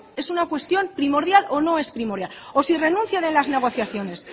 es una cuestión primordial o no es primordial o si renuncian en las negociaciones